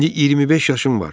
İndi 25 yaşım var.